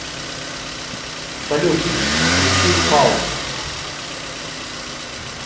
салют включи палп